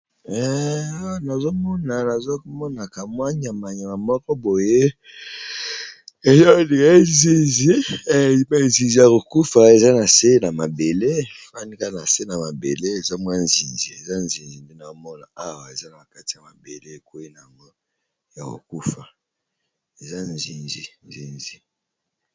Nazomona nazomona ka mwa nyama nyama moko boye eza ondiré nzinzi ya kokufa eza na nse na mabele efandi kaka na se na mabele eza mwa nzinzi eza nzinzi nde naomona awa eza na kati ya mabele ekweyi nngo ya kokufa eza nzinzi.